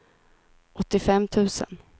åttiofem tusen